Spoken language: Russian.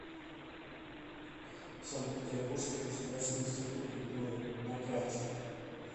санкт петербургский государственный институт культуры на карте